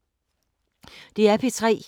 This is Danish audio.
DR P3